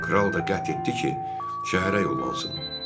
Kral da qətl etdi ki, şəhərə yollansın.